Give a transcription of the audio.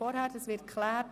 Dies wird geklärt.